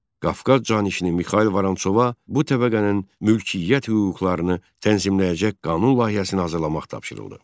Qafqaz canişini Mixail Vorontsova bu təbəqənin mülkiyyət hüquqlarını tənzimləyəcək qanun layihəsini hazırlamaq tapşırıldı.